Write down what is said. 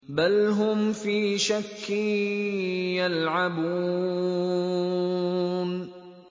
بَلْ هُمْ فِي شَكٍّ يَلْعَبُونَ